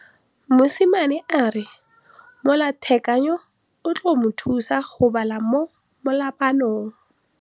Mosimane a re molatekanyô o tla mo thusa go bala mo molapalong.